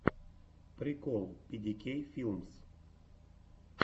прикол пи ди кей филмс